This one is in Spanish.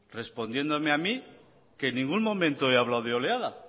respondiéndome a mí que en ningún momento he hablado de oleada